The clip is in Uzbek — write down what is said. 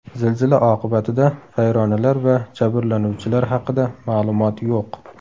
Zilzila oqibatida vayronalar va jabrlanuvchilar haqida ma’lumot yo‘q.